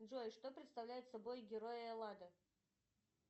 джой что представляет собой герой эллада